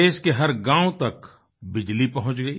देश के हर गाँव तक बिजली पहुँच गई